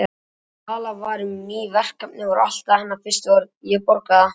Þegar talað var um ný verkefni voru alltaf hennar fyrstu orð: Ég borga það